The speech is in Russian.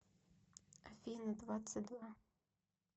афина двадцать два